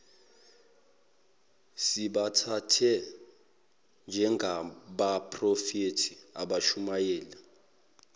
sibathathe njengabaphrofethi abashumayela